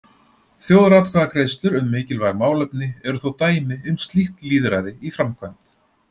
Þjóðaratkvæðagreiðslur um mikilvæg málefni eru þó dæmi um slíkt lýðræði í framkvæmd.